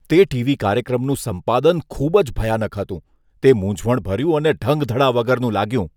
તે ટી.વી. કાર્યક્રમનું સંપાદન ખૂબ જ ભયાનક હતું. તે મૂંઝવણભર્યું અને ઢંગધડા વગરનું લાગ્યું.